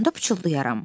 onda pıçıldayaram.